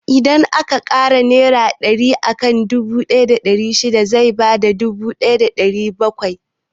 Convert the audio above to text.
Idan aka ƙara ɗari akan dubu ɗaya da ɗari shida zai bada dubu ɗaya da ɗari bakwai.